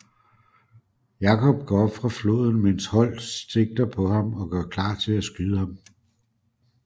Jacob går op fra floden mens Holt sigter på ham og gør klar til at skyde ham